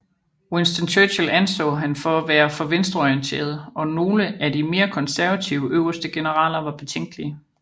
Winston Churchill anså han for at være for venstreorienteret og nogle af de mere konservative øverste generaler var betænkelige